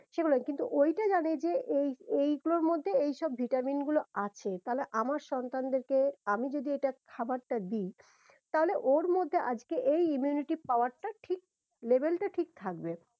সেগুলোই কিন্তু ওইটা জানে যে এই এইগুলোর মধ্যে এই সব ভিটামিন গুলো আছে তাহলে আমার সন্তানদের কে আমি যদি এটা খাবারটা দি তাহলে ওর মধ্যে আজকে এই immunity power টা ঠিক level টা ঠিক থাকবে।